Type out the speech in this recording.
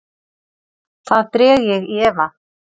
Það dreg ég í efa.